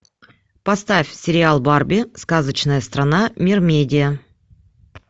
поставь сериал барби сказочная страна мермедия